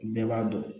Bɛɛ b'a dɔn